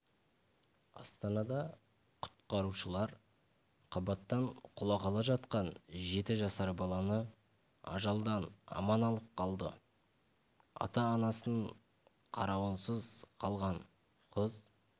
астанада құтқарушылар қабаттан құлағалы жатқан жеті жасар баланы ажалдан аман алып қалды ата-анасының қарауынсыз қалған қыз